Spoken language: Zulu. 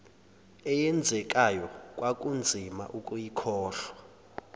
eyenzekayo kwakunzima ukuyikholwa